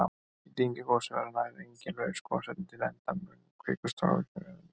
Í dyngjugosum verða nær engin laus gosefni til enda mun kvikustrókavirkni vera lítil.